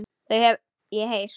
Þau hef ég heyrt.